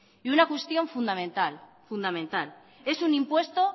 y una cuestión fundamental es un impuesto